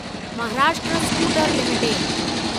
Maharashtra scooter limited